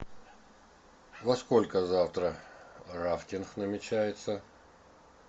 во сколько завтра рафтинг намечается